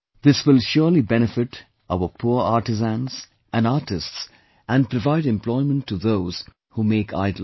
This will surely benefit our poor artisans, and artists, and provide employment to those who make idols